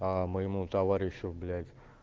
а моему товарищу блять